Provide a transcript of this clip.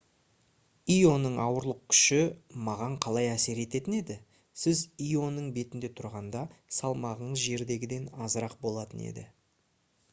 ионың ауырлық күші маған қалай әсер ететін еді сіз ионың бетінде тұрғанда салмағыңыз жердегіден азырақ болатын еді